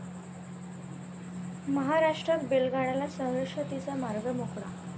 महाराष्ट्रात बैलगाडा शर्यतींचा मार्ग मोकळा